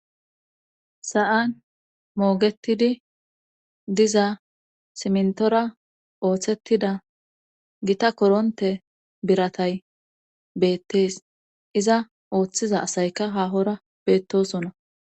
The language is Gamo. Sa'an moogetidi diza simntora ooththettida gita koronte biratay beettees iza ooththiza asayka haahora beettosonna.